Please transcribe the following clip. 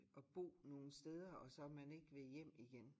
At bo nogen steder og så man ikke vil hjem igen